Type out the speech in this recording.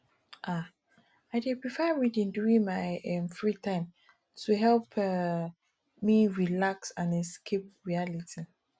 um i dey prefer reading during my um free time to help um me relax and escape reality